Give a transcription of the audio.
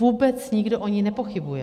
Vůbec nikdo o ní nepochybuje.